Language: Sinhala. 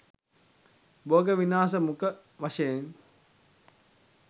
බෝග විනාශ මුඛ වශයෙන්